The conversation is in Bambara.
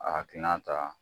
A hakilina ta